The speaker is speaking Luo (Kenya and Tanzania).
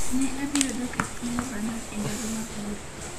Ne abiro dok e piny Lebanon e ndalo mabiro.